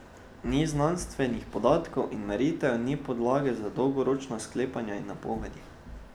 Ni znanstvenih podatkov in meritev, ni podlage za dolgoročna sklepanja in napovedi.